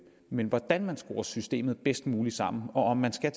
men hvordan man skruer systemet bedst muligt sammen og om man skal